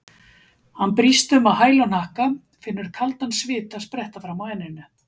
Hann brýst um á hæl og hnakka, finnur kaldan svita spretta fram á enninu.